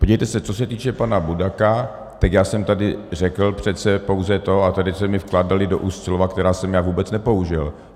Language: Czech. Podívejte se, co se týče pana Budaka, tak já jsem tady řekl přece pouze to - a tady se mi vkládala do úst slova, která jsem já vůbec nepoužil.